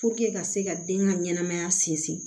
ka se ka den ka ɲɛnɛmaya sinsin